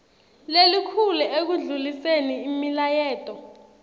lelikhulu ekundluliseni imilayeto